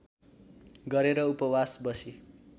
गरेर उपवास बसी